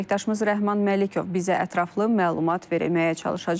Əməkdaşımız Rəhman Məlikov bizə ətraflı məlumat verməyə çalışacaq.